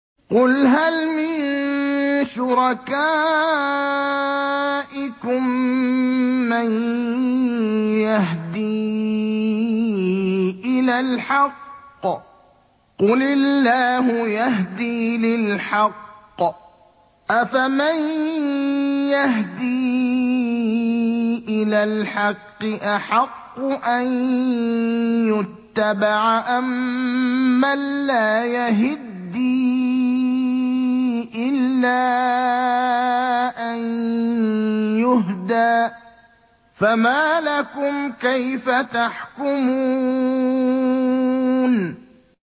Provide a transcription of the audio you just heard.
قُلْ هَلْ مِن شُرَكَائِكُم مَّن يَهْدِي إِلَى الْحَقِّ ۚ قُلِ اللَّهُ يَهْدِي لِلْحَقِّ ۗ أَفَمَن يَهْدِي إِلَى الْحَقِّ أَحَقُّ أَن يُتَّبَعَ أَمَّن لَّا يَهِدِّي إِلَّا أَن يُهْدَىٰ ۖ فَمَا لَكُمْ كَيْفَ تَحْكُمُونَ